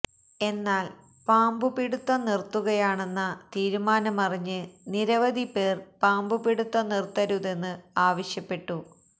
എന്നാല് പാമ്പുപിടുത്തം നിര്ത്തുകയാണെന്ന തീരുമാനമറിഞ്ഞ് നിരവധി പേര് പാമ്പുപിടിത്തം നിര്ത്തരുതെന്ന് ആവശ്യപ്പെട്ടു